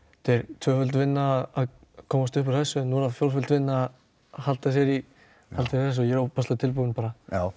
tvöföld vinna að komast upp úr þessu og núna fjórföld vinna að halda sér í þessu ég er ofboðslega tilbúinn bara